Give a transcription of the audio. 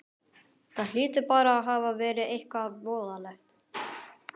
Það hlýtur bara að hafa verið eitthvað voðalegt.